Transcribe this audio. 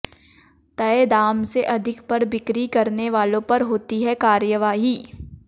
तय दाम से अधिक पर बिक्री करने वालों पर होती है कार्रवाई